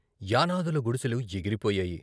యానాదుల గుడిసెలు ఎగిరిపోయాయి!